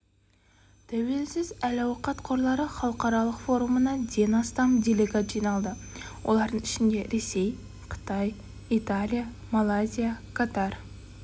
тәуелсіз әл-ауқат қорлары халықаралық форумына ден астам делегат жиналды олардың ішінде ресей қытай италия малайзия катар